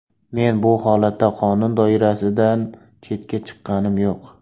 Men bu holatda qonun doirasidan chetga chiqqanim yo‘q.